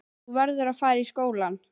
Þú verður að fara í skólann.